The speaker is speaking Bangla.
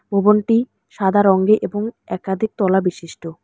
ববনটি সাদা রঙ্গে এবং একাধিক তলা বিশিষ্ট।